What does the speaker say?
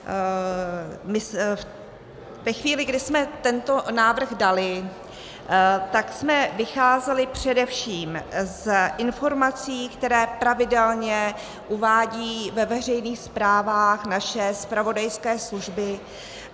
Ve chvíli, kdy jsme tento návrh dali, tak jsme vycházeli především z informací, které pravidelně uvádějí ve veřejných zprávách naše zpravodajské služby.